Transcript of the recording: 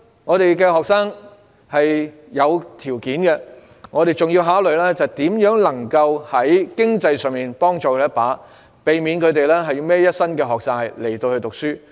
我們的學生是有條件的，但我們也要考慮如何在經濟上幫他們一把，以免他們背負一身學債。